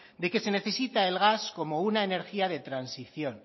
de que se necesita el gas como una energía de transición